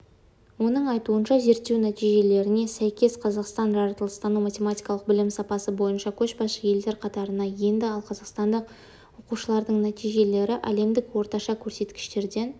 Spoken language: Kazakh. оның айтуынша зерттеу нәтижелеріне сәйкес қазақстан жаратылыстану-математикалық білім сапасы бойынша көшбасшы-елдер қатарына енді ал қазақстандық оқушылардың нәтижелері әлемдік орташа көрсеткіштерден